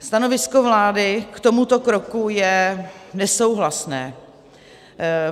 Stanovisko vlády k tomuto kroku je nesouhlasné.